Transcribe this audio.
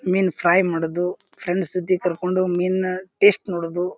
ಮಿನ್ fry ಮಾಡೋದು friends ಜೊತಿ ಕರ್ಕೊಂಡು ಮೀನ್ ಟೆಸ್ಟ್ ನೋಡೋದು.